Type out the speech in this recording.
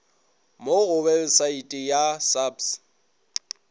mo go webesaete ya saps